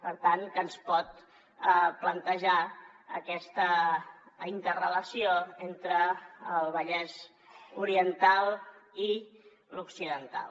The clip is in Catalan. per tant ens pot plantejar aquesta interrelació entre el vallès oriental i l’occidental